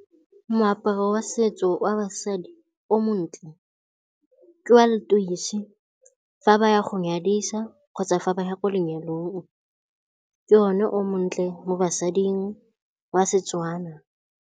Moaparo wa setso wa basadi o montle ke wa letoise fa ba ya go nyadiwa kgotsa fa ba ya ko lenyalong. Ke one o montle mo basading wa seTswana.